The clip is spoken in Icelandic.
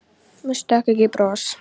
Mér stökk ekki bros.